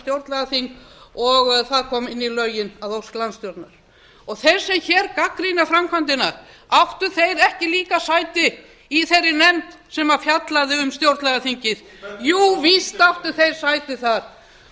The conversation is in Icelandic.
stjórnlagaþing og það kom inn í lögin að ósk landstjórnar þeir sem hér gagnrýna framkvæmdina áttu þ eir ekki líka sæti í þeirri nefnd sem fjallaði um stjórnlagaþingið jú víst áttu þeir sæti þar